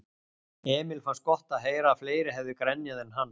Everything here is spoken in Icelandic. Emil fannst gott að heyra að fleiri hefðu grenjað en hann.